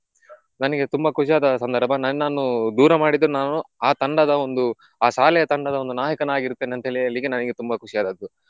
ನನಿಗೆ ತುಂಬ ಖುಷಿಯಾದ ಸಂದರ್ಭ ನನ್ನನ್ನು ದೂರ ಮಾಡಿದ್ರು ನಾನು ಆ ತಂಡದ ಒಂದು ಆ ಶಾಲೆಯ ತಂಡದ ಒಂದು ನಾಯಕನಾಗಿರ್ತೇನೆ ಅಂತ ಹೇಳಿ ಹೇಳಿಕ್ಕೆ ನಂಗೆ ತುಂಬ ಖುಷಿ ಆದದ್ದು.